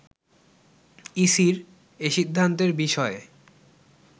ইসির এসিদ্ধান্তের বিষয়ে